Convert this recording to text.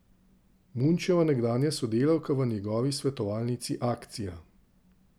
Munčeva nekdanja sodelavka v njegovi Svetovalnici Akcija!